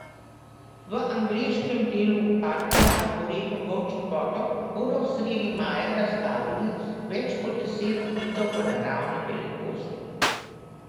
V angleškem delu parka Arboretum Volčji Potok bodo sredi maja razstavili več kot deset kitov v naravni velikosti.